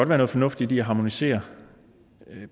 være noget fornuftigt i at harmonisere